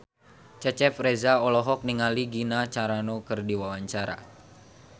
Cecep Reza olohok ningali Gina Carano keur diwawancara